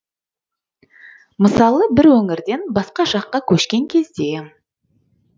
мысалы бір өңірден басқа жаққа көшкен кезде